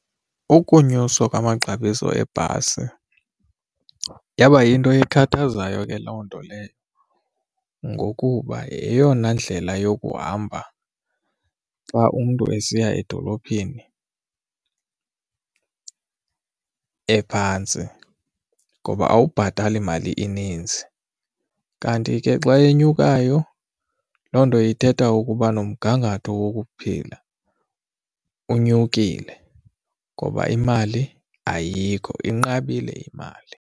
Ukunyuswa kwamaxabiso ebhasi yaba yinto ekhathazayo ke loo nto leyo ngokuba yeyona ndlela yokuhamba xa umntu esiya edolophini ephantsi ngoba awubhatali mali ininzi. Kanti ke xa enyukayo, loo nto ithetha ukuba nomgangatho wokuphila unyukile ngoba imali ayikho inqabile imali.